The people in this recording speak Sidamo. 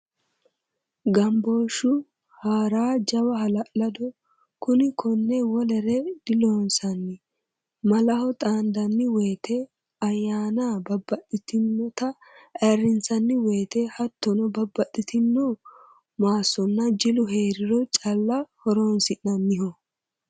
Gambooshu hara jawa hala'ladoho kuni kone wolere diloonsanni malaho xaandanni woyte ayyaannq babbaxxitinotta ayirrinsanni woyte hattono babbaxxitino maasonna jilu heeriro calla horonsi'nanniho.